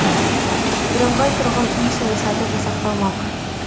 бірыңғай тұрғын үй саясаты жасақталмақ